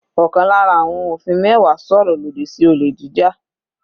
Ọ̀kan lára àwọn òfin mẹ́wàá sọ̀rọ̀ lòdì sí olè jíjà.